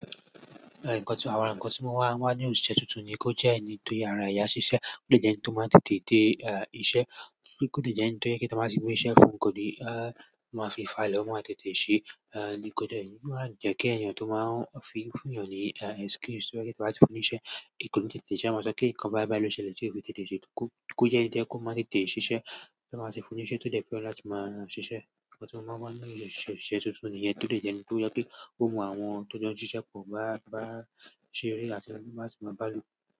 Àwọn nǹkan tí mo wà ń wa nínú òṣìṣẹ́ tuntun ni kó jẹ́ ẹni tí ara ẹ yá ṣiṣẹ́, kó dè jẹ́ ẹni tí ó máa ń tètè dé iṣẹ́, kó dè jẹ́ ẹni tí ó jẹ́ pé tí wọ́n bá ti gbé iṣẹ́ fún, kò ní máa fi fà ilé, ó máa tètè ṣe, kò má jẹ́ kí èèyàn tí ó máa ń fi fún èèyàn ní excuse tó jẹ́ pé tí wọ́n bá tì fún ní iṣẹ́, kò ní tètè ṣe, a máa sọ pé ǹkan báyìí báyìí ló ṣe ń tí ó lè tètè ṣe, kó, kó jẹ́ ẹni tó yẹ kò máa ń tètè ṣiṣẹ́ tọ́ ń bá ti fún ní iṣẹ́ tó jẹ́ pé ọ̀la tí máa ṣiṣẹ́. Nǹkan tí mo ń wà nínú òṣìṣẹ́, òṣìṣẹ́ tuntun níyẹn, tó dè jẹ́ ẹni tó yẹ kí ó mọ àwọn tó jẹ́ òṣìṣẹ́ kò bá, bá ṣeere áti máa ṣì máa bá lò.